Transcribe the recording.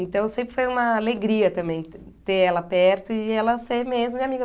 Então sempre foi uma alegria também ter ela perto e ela ser mesmo minha amiga,